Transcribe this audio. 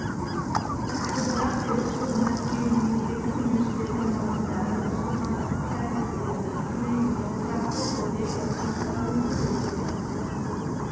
топырақ пен су мәскеу мемлекеттік университеті мамандары ұсынған тсілдердің көмегімен тұрақты түрде сынақтан өткізіледі